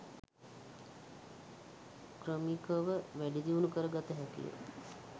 ක්‍රමිකව වැඩිදියුණු කර ගත හැකියි.